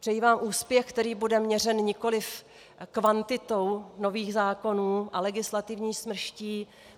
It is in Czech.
Přeji vám úspěch, který bude měřen nikoliv kvantitou nových zákonů a legislativní smrští.